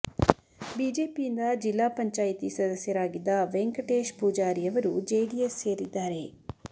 ಬಿಜೆಪಿಯಿಂದ ಜಿಲ್ಲಾ ಪಂಚಾಯಿತಿ ಸದಸ್ಯರಾಗಿದ್ದ ವೆಂಕಟೇಶ್ ಪೂಜಾರಿ ಅವರು ಜೆಡಿಎಸ್ ಸೇರಿದ್ದಾರೆ